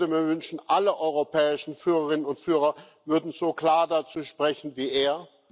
Ich würde mir wünschen, alle europäischen Führerinnen und Führer würden so klar dazu sprechen wie er.